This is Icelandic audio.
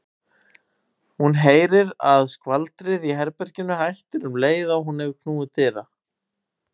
Hún heyrir að skvaldrið í herberginu hættir um leið og hún hefur knúið dyra.